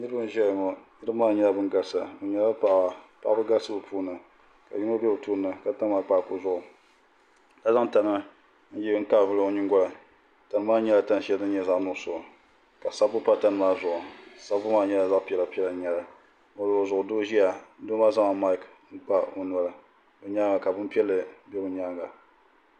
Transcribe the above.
Niraba n ʒɛya ŋo niraba maa nyɛla bin galisi paɣaba n galisi bi puuni ka yino bɛ tooni na ka tam akpaaku zuɣu ka zaŋ tana n kaai vuli o nyingoli tani maa nyɛla tani shɛli din nyɛ zaɣ nuɣso ka sabbu pa tani maa zuɣu sabbu maa nyɛla zaɣ piɛla piɛla n nyɛli o luɣuli zuɣu doo ʒiya doo maa zaŋla maik n kpa o noli bi nyaanga ka bin piɛlli bɛ bi nyaanga